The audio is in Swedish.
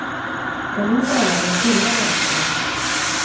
För nu börjar den stora rädslan.